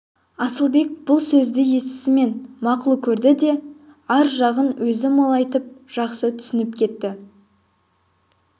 асылбек бұл сөзді естісімен мақұл көрді де ар жағын өзі молайтып жақсы түсініп кетті